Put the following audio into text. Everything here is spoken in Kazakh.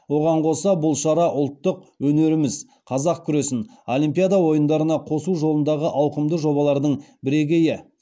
оған қоса бұл шара ұлттық өнеріміз қазақ күресін олимпиада ойындарына қосу жолындағы ауқымды жобалардың бірегейі